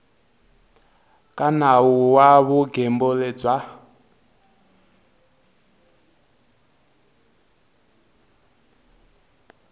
ka nawu wa vugembuli bya